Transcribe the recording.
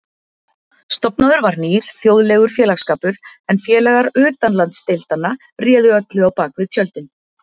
Stofnaður var nýr, þjóðlegur félagsskapur, en félagar utanlandsdeildanna réðu öllu á bak við tjöldin.